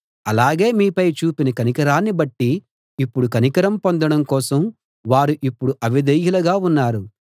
అలాగే మీపై చూపిన కనికరాన్ని బట్టి ఇప్పుడు కనికరం పొందడం కోసం వారు ఇప్పుడు అవిధేయులుగా ఉన్నారు